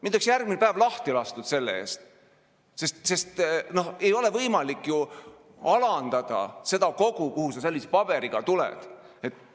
Mind oleks järgmine päev lahti lastud, sest ei ole võimalik alandada seda kogu, kuhu sa sellise paberiga tuled.